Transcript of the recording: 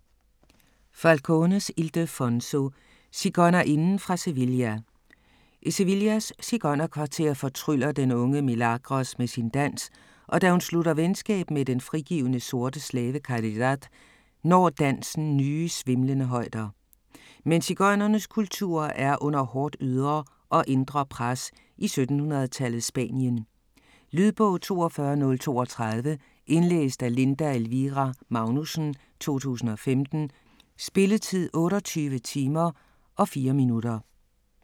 Falcones, Ildefonso: Sigøjnerinden fra Sevilla I Sevillas sigøjnerkvarter fortryller den unge Milagros med sin dans, og da hun slutter venskab med den frigivne sorte slave Caridad, når dansen nye, svimlende højder. Men sigøjnernes kultur er under hårdt ydre og indre pres i 1700-tallets Spanien. Lydbog 42032 Indlæst af Linda Elvira Magnussen, 2015. Spilletid: 28 timer, 4 minutter.